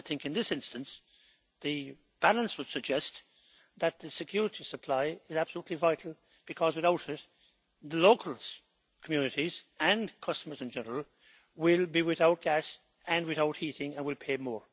And I think in this instance the balance would suggest that the security of supply is absolutely vital because without it the locals, communities and customers in general, will be without gas and without heating and will pay more.